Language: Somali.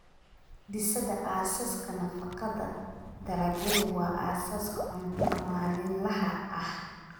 Dhisida Aasaaska Nafaqada Dalagyadu waa aasaaska cuntada maalinlaha ah.